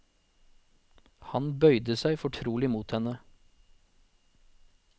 Han bøyde seg fortrolig mot henne.